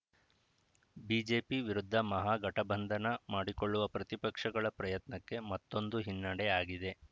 BJP ವಿರುದ್ಧ ಮಹಾಗಠಬಂಧನ ಮಾಡಿಕೊಳ್ಳುವ ಪ್ರತಿಪಕ್ಷಗಳ ಪ್ರಯತ್ನಕ್ಕೆ ಮತ್ತೊಂದು ಹಿನ್ನಡೆ ಆಗಿದೆ